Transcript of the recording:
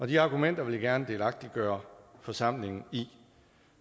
de argumenter vil jeg gerne delagtiggøre forsamlingen i